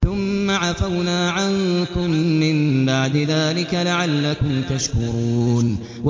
ثُمَّ عَفَوْنَا عَنكُم مِّن بَعْدِ ذَٰلِكَ لَعَلَّكُمْ تَشْكُرُونَ